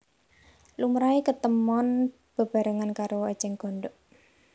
Lumrahé ketemon bebarengan karo ècèng gondhok